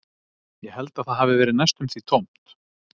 Ég held að það hafi verið næstum því tómt